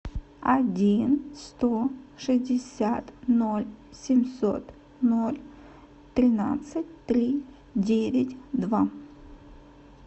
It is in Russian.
один сто шестьдесят ноль семьсот ноль тринадцать три девять два